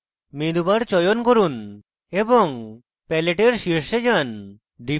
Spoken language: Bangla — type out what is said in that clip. menu bar চয়ন করুন এবং প্যালেটের শীর্ষে যান